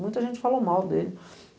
Muita gente falou mal dele.